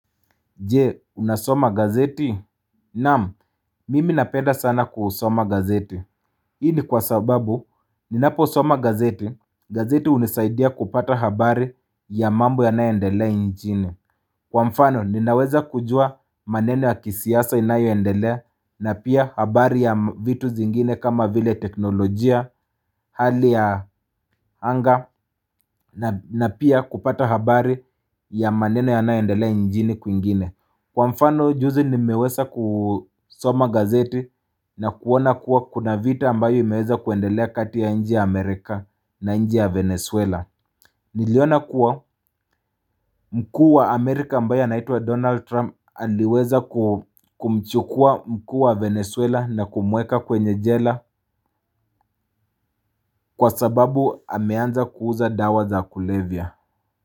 Jee, unasoma gazeti? Naam, mimi napenda sana kusoma gazeti. Hii ni kwa sababu, ninapo soma gazeti. Gazeti unisaidia kupata habari ya mambo ya nae ndelea nchini. Kwa mfano, ninaweza kujua maneno ya kisiasa inayo ndelea na pia habari ya vitu zingine kama vile teknolojia hali ya anga na pia kupata habari ya maneno ya nae ndelea nchini kwingine. Kwa mfano juzi nimeweza kusoma gazeti na kuona kuwa kuna vita ambayo imeweza kuendelea kati ya nchi ya Amerika na nchi ya Venezuela Niliona kuwa mkuu wa Amerika ambaye anaitwa Donald Trump aliweza kumchukua mkuu wa Venezuela na kumweka kwenye jela Kwa sababu ameanza kuuza dawa za kulevya.